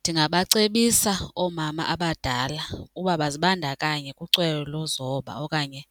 Ndingabacebisa oomama abadala uba bazibandakanye kucwele lokuzoba okanye